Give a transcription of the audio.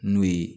N'o ye